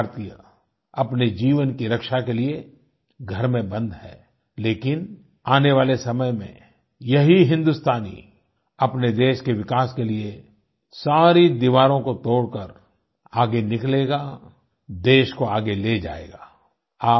आज हर भारतीय अपने जीवन की रक्षा के लिए घर मे बंद है लेकिन आने वाले समय में यही हिन्दुस्तानी अपने देश के विकास के लिए सारी दीवारों को तोड़कर आगे निकलेगा देश को आगे ले जाएगा